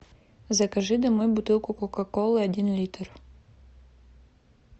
закажи домой бутылку кока колы один литр